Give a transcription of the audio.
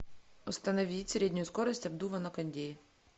установить среднюю скорость обдува на кондее